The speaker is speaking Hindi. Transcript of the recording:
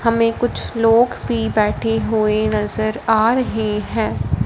हमें कुछ लोग भी बैठे हुए नज़र आ रहे हैं।